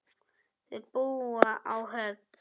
Þau búa á Höfn.